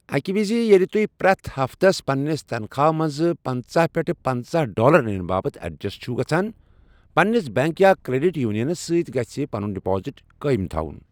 اکہِ وز ییٚلہِ تُہۍ پرٛٮ۪تھ ہفتس پنٛنِس تنخواہ منٛز پنٛژاہ پٮ۪ٹھ پنٛژاہ ڈالر نِنہٕ باپَتھ ایڈجسٹ چھِوٕ گژھان، پنٛنِس بینک یا کرٛیٚڈِٹ یونینس سۭتۍ گژھہِ پنُن ڈپازٹ قٲیم تھاوُن۔